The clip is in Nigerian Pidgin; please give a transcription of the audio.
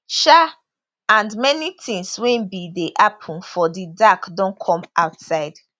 um and many tins wey bin dey happun for di dark don come outside